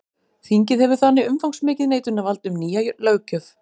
Þingið hefur þannig umfangsmikið neitunarvald um nýja löggjöf.